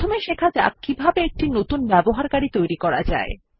প্রথমে শেখা যাক কিভাবে একটি নতুন ব্যবহারকারী তৈরী করা যায়